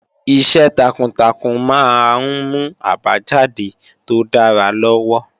Iṣẹ́ takuntakun máa ń mú àbájáde tó dára lọ́wọ́